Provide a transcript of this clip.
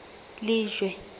lejwe